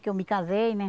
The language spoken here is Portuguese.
Que eu me casei, né?